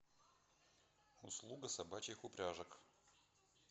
услуга собачьих упряжек